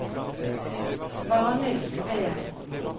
Svanhild Sveen